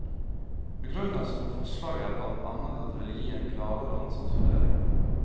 Begrunnelsen for forslaget er blant annet at det vil gi en klarere ansvarsfordeling.